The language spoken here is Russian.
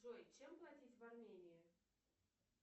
джой чем платить в армении